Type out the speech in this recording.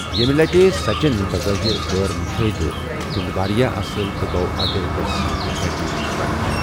یمہٕ لٹہٕ، سچن، بظٲہر غٲر مشاہدٕ، گِیُنٛد واریاہ اصل تہٕ گوٚو اترِکس سۭتۍ اکیڈمی منٛز درج۔